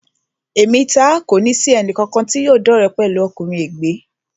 Èmi taá kòní sì ẹnì kankan tí yóò dọ́re pẹ̀lú ọkùnrin ègbé